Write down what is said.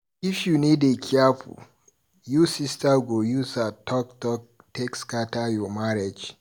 If you no dey careful, you sista go use her talk talk take scatter your marriage.